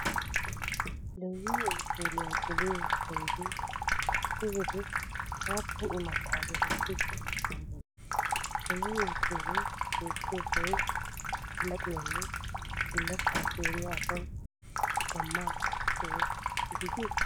Lewi uteeliyaa geliyo penggee issi wode aapun imattaa gelisidi dandayii? Lewi uteelee beetiyo sohoy allaxxiyaanne bullachchaa keeriyaa asawu gamma soho gidii?